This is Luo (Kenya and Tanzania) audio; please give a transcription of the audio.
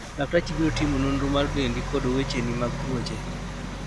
laktachi biro timo nonro mar dendi kod wecheni mag tuoche